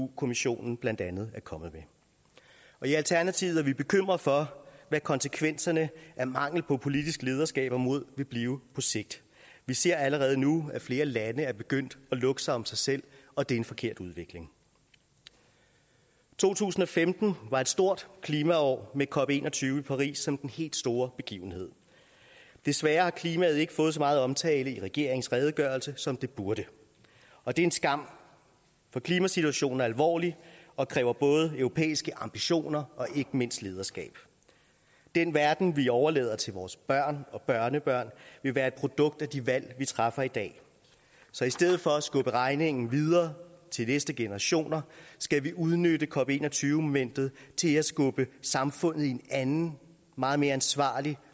kommissionen blandt andet er kommet med i alternativet er vi bekymrede for hvad konsekvenserne af mangel på politisk lederskab og mod vil blive på sigt vi ser allerede nu at flere lande er begyndt at lukke sig om sig selv og det er en forkert udvikling to tusind og femten var et stort klimaår med cop en og tyve i paris som den helt store begivenhed desværre har klimaet ikke fået så meget omtale i regeringens redegørelse som det burde og det er en skam for klimasituationen er alvorlig og kræver både europæiske ambitioner og ikke mindst lederskab den verden vi overlader til vores børn og børnebørn vil være et produkt af de valg vi træffer i dag så i stedet for at skubbe regningen videre til de næste generationer skal vi udnytte cop en og tyve momentet til at skubbe samfundet i en anden meget mere ansvarlig